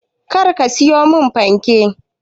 Kar ka siyo min fanke.